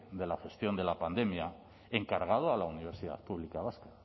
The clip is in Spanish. de la gestión de la pandemia encargado a la universidad pública vasca